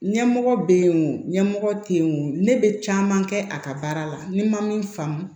Ɲɛmɔgɔ bɛ yen wo ɲɛmɔgɔ tɛ yen o ne bɛ caman kɛ a ka baara la ni n ma min faamu